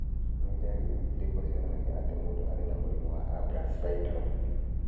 Nĩ ndariri irĩkũ cionanagia atĩ mũndũ arĩ na mũrimũ wa Ambras syndrome?